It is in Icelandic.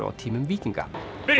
á tímum víkinga